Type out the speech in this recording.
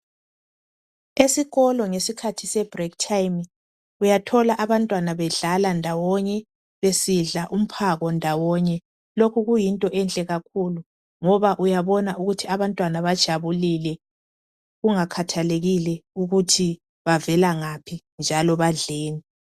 Esikolo ngesikhathi se break time uyathola abantwana bedlala ndawonye besidla umphako ndawonye lokhu kuyinto enhle kakhulu ngoba uyabona ukuthi abantwana bajabulile kungakhathalekile ukuthi bavela ngaphi njalo badleni.